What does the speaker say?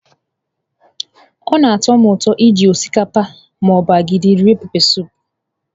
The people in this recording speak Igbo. Ọ na-atọ m ụtọ iji osikapa ma ọ bụ agidi rie pepesụpụ.